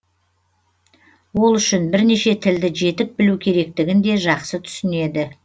ол үшін бірнеше тілді жетік білу керектігін де жақсы түсінеді